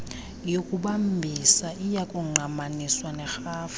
yokubambisa iyakungqamaniswa nerhafu